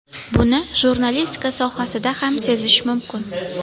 Buni jurnalistika sohasida ham sezish mumkin.